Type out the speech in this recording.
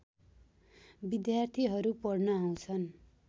विद्यार्थीहरू पढ्न आउँछन्